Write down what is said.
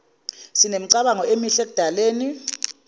sinemicabango emihle ekudaleni